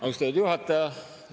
Austatud juhataja!